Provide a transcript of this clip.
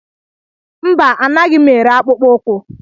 mba, anaghị m ere akpụkpọ ụkwụ